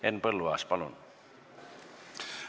Henn Põlluaas, palun!